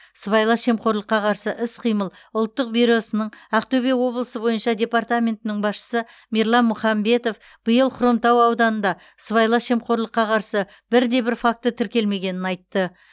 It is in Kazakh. сыбайлас жемқорлыққа қарсы іс қимыл ұлттық бюросының ақтөбе облысы бойынша департаментінің басшысы мирлан мұхамбетов биыл хромтау ауданында сыбайлас жемқорлыққа қарсы бірде бір факті тіркелмегенін айтты